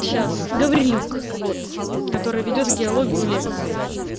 сейчас гаврилюк вот который ведёт геологию лекции